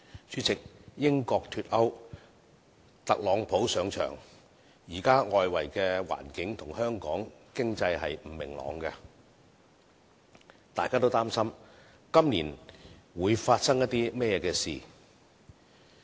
主席，英國脫歐，特朗普上場，現時的外圍環境和香港經濟並不明朗，大家都擔心不知今年會發生甚麼事情。